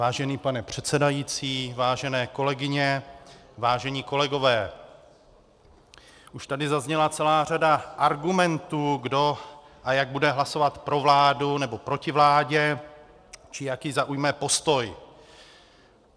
Vážený pane předsedající, vážené kolegyně, vážení kolegové, už tady zazněla celá řada argumentů, kdo a jak bude hlasovat pro vládu či proti vládě, či jaký zaujme postoj.